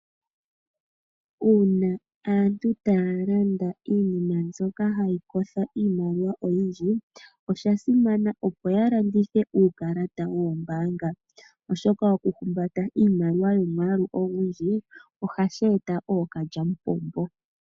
Uuna aantu taya landa iinima mbyoka ha yi kotha iimaliwa oyindji, osha simana okulanditha uukalata wawo woombaanga, oshoka okulanditha iimaliwa oyindji, ohashi eta ookalyamupombo.